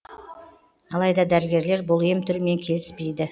алайда дәрігерлер бұл ем түрімен келіспейді